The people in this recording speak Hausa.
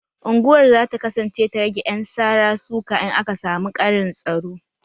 Unguwar za ta kasance ta rage ƴan sara suka in aka samu ƙarin tsaro